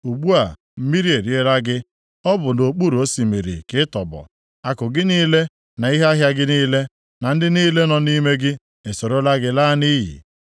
Ugbu a, mmiri e riela gị, ọ bụ nʼokpuru osimiri ka ị tọgbọ. Akụ gị niile na ihe ahịa gị niile, na ndị niile nọ nʼime gị esorola gị laa nʼiyi.